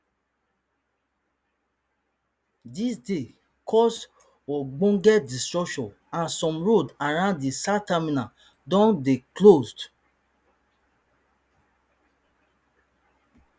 dis dey cause ogbonge disruption and some roads around di south terminal don dey closed